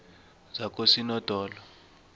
zakosinodolo